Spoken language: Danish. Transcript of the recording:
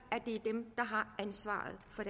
at